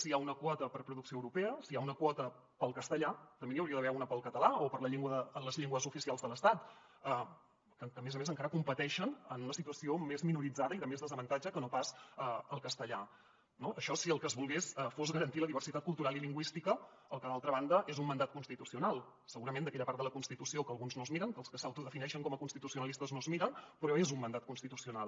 si hi ha una quota per producció europea si hi ha una quota per al castellà també n’hi hauria d’haver una per al ca·talà o per a les llengües oficials de l’estat que a més a més encara competeixen en una situació més minoritzada i de més desavantatge que no pas el castellà no això si el que es volgués fos garantir la diversitat cultural i lingüística cosa que d’altra banda és un mandat constitucional segurament d’aquella part de la consti·tució que alguns no es miren que els que s’autodefineixen com a constitucionalistes no es miren però és un mandat constitucional